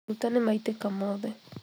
Maguta nĩmaitĩka mothe